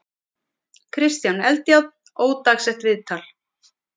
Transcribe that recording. Kristján Eldjárn, ódagsett viðtal.